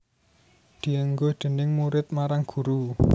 Dienggo déning murid marang guru